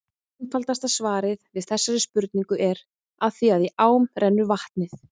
Einfaldasta svarið við þessari spurningu er: Af því að í ám rennur vatnið!